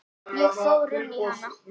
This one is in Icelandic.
Ég fór inn í hana.